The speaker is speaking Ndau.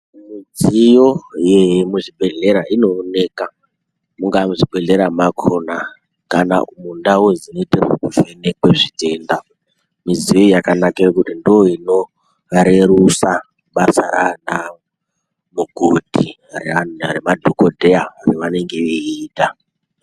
Dziyo yekuzvibhedhlera inooneka mungaa muzvibhedhlera mwakhona kana kundau dzinoite zvekuvhenekwe zvitenda midziyo iyi yakanakire kuti ndoinorerusa basa rana mukoti raana remadhokodheya ravanenge veiita.